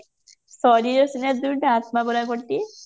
ଶରୀର ସିନା ଦୁଇଟା ଆତ୍ମା ପରା ଗୋଟିଏ